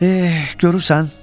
E, görürsən?